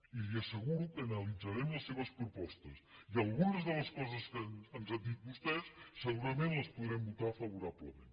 i li asseguro que analitzarem les seves propostes i algunes de les coses que ens han dit vostès segurament les podrem votar favorablement